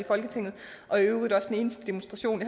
folketinget og i øvrigt også den eneste demonstration